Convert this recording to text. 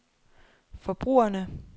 forbrugerne